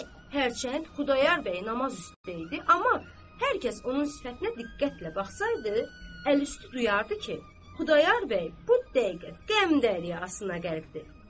Hərçənd Xudayar bəy namaz üstə idi, amma hər kəs onun sifətinə diqqətlə baxsaydı, əliüstü duyardı ki, Xudayar bəy bu dəqiqə qəm dəryasına qərqdir.